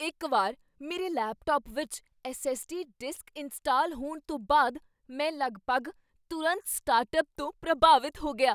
ਇੱਕ ਵਾਰ ਮੇਰੇ ਲੈਪਟਾਪ ਵਿੱਚ S. S. D. Disk install ਹੋਣ ਤੋਂ ਬਾਅਦ ਮੈਂ ਲਗਭਗ ਤੁਰੰਤ ਸਟਾਰਟਅੱਪ ਤੋਂ ਪ੍ਰਭਾਵਿਤ ਹੋ ਗਿਆ।